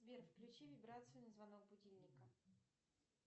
сбер включи вибрацию на звонок будильника